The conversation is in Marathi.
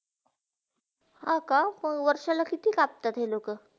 हा का, हो वर्षाला किती कापतात हा लोका?